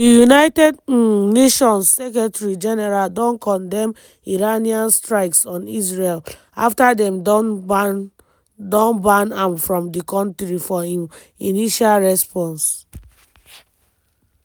di united um nations secretary general don condemn iranian strikes on israel afta dem don ban don ban am from di kontri for im initial response.